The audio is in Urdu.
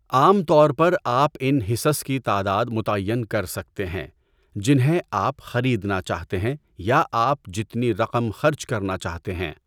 عام طور پر آپ ان حصص کی تعداد متعین کر سکتے ہیں جنہیں آپ خریدنا چاہتے ہیں یا آپ جتنی رقم خرچ کرنا چاہتے ہیں۔